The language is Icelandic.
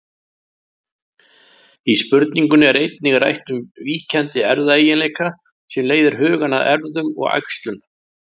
Í spurningunni er einnig rætt um víkjandi erfðaeiginleika sem leiðir hugann að erfðum og æxlun.